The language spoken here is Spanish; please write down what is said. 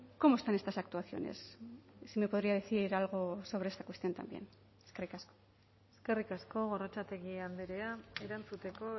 cómo están estas actuaciones si me podría decir algo sobre esta cuestión también eskerrik asko eskerrik asko gorrotxategi andrea erantzuteko